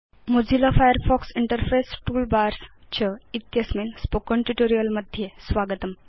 Mozilla Firefox Interface toolbars च इत्यस्मिन् spoken tutorial मध्ये स्वागतम्